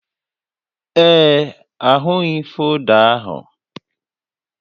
Ee, ahụghị folda ahụ